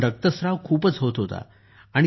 परंतु रक्तस्त्राव खूपच होत होता